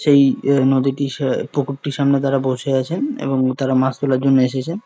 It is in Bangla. সেই এই নদীটির সে পুকুরটির সামনে তারা বসে আছেন এবং তারা মাছ তোলার জন্য এসেছেন ।